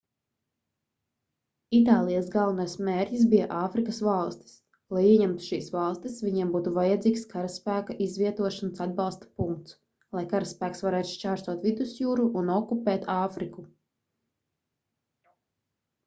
itālijas galvenais mērķis bija āfrikas valstis lai ieņemtu šīs valstis viņiem būtu vajadzīgs karaspēka izvietošanas atbalsta punkts lai karaspēks varētu šķērsot vidusjūru un okupēt āfriku